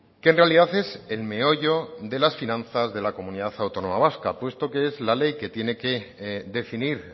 que en realidad es el meollo de las finanzas de la comunidad autónoma vasca puesto que es la ley que tiene que definir